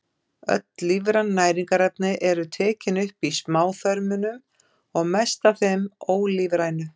Öll lífræn næringarefni eru tekin upp í smáþörmunum og mest af þeim ólífrænu.